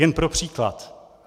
Jen pro příklad.